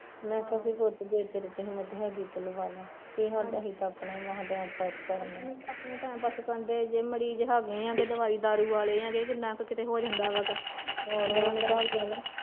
ਮੈਂ ਕਿਹਾ ਪੁੱਤ ਫਿਰ ਜੇ ਤੇਰੇ ਚ ਹਿੱਮਤ ਹੈਗੀ ਤੇ ਲਵਾਲਾ, ਸਾਡੇ ਤਾਂ ਅਸੀਂ ਤਾਂ ਆਪਣਾ ਈ ਟੈਮ ਮਸ ਪਾਸ ਕਰਣ ਡਏ ਆ